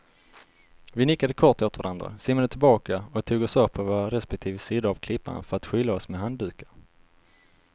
Vi nickade kort åt varandra, simmade tillbaka och tog oss upp på våra respektive sidor av klippan för att skyla oss med handdukar.